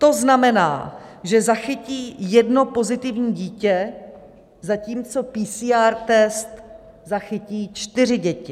To znamená, že zachytí jedno pozitivní dítě, zatímco PCR test zachytí čtyři děti.